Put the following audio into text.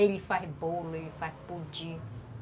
Ele faz bolo, ele faz pudim.